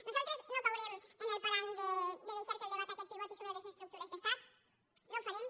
nosaltres no caurem en el parany de deixar que el debat aquest pivoti sobre les estructures d’estat no ho farem